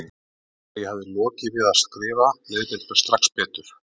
Þegar ég hafði lokið við að skrifa leið mér strax betur.